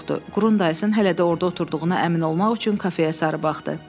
Qurun dayısın hələ də orda oturduğuna əmin olmaq üçün kafeyə sarı baxdı.